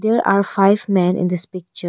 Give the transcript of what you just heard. There are five man in this picture.